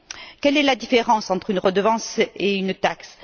Quelle est la différence entre une redevance et une taxe?